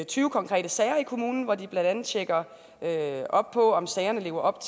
tyve konkrete sager i kommunen hvor de blandt andet tjekker op på om sagerne lever op